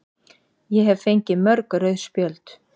Ég hef fengið mörg rauð spjöld.